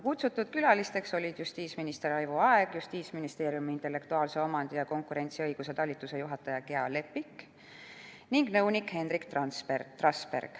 Kutsutud külalised olid justiitsminister Raivo Aeg, Justiitsministeeriumi intellektuaalomandi ja konkurentsiõiguse talituse juhataja Gea Lepik ning nõunik Henrik Trasberg.